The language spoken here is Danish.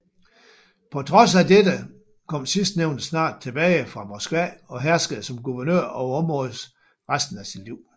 På trods af dette kom sidstnævnte snart tilbage fra Moskva og herskede som guvernør over området resten af sit liv